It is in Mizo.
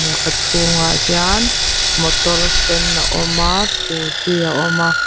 a chhungah hian motor sen a awm a scooty a awm a.